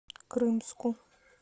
крымску